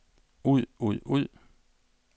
ud ud ud